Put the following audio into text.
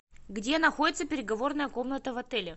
где находится переговорная комната в отеле